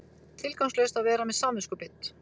Tilgangslaust að vera með samviskubit.